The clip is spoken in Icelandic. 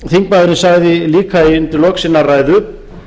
þingmaðurinn sagði líka undir lok sinnar ræðu